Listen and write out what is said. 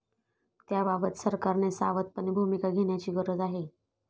त्याबाबत सरकारने सावधपणे भूमिका घेण्याची गरज आहे.